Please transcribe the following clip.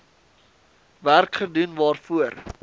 werk gedoen waarvoor